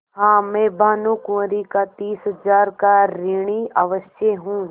हाँ मैं भानुकुँवरि का तीस हजार का ऋणी अवश्य हूँ